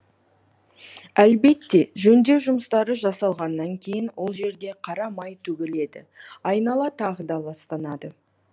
әлбетте жөндеу жұмыстары жасалғаннан кейін ол жерге қара май төгіледі айнала тағы да ластанады